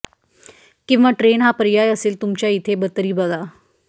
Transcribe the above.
किंवा ट्रेन हा पर्याय असेल तुमच्या इथे तरी बघा